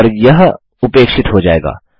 और यह उपेक्षित हो जाएगा